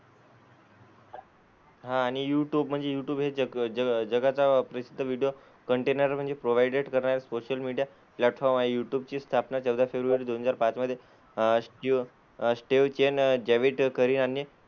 हां आणि युट्यूब म्हणजे यूट्यूब हे जग ज जगाचा प्रसिद्ध व्हिडिओ कंटेनर म्हणजे प्रोव्हायडेड करणारे सोशल मीडिया प्लॅटफॉर्म आहे. युट्युब ची स्थापना चौदा फेब्रुवारी दोन हजार पाच मध्ये अह स्टीव्ह अह स्टीव्ह चेन, जावेद करीम आणि,